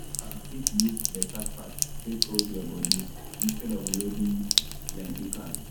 you fit use beta fat take hold your body instead of loading plenty carbs.